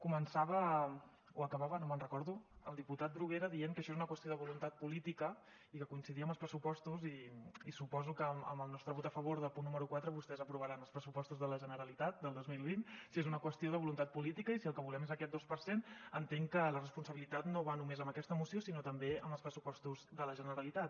començava o acabava no me’n recordo el diputat bruguera dient que això és una qüestió de voluntat política i que coincidia amb els pressupostos i suposo que amb el nostre vot a favor del punt número quatre vostès aprovaran els pressupostos de la generalitat del dos mil vint si és una qüestió de voluntat política i si el que volem és aquest dos per cent entenc que la responsabilitat no va només amb aquesta moció sinó també amb els pressupostos de la generalitat